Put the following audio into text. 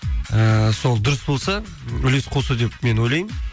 ііі сол дұрыс болса үлес қосу деп мен ойлаймын